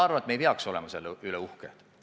Ma arvan, et me ei peaks selle üle uhked olema.